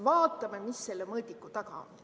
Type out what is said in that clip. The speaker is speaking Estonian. Vaatame, mis selle mõõdiku taga on.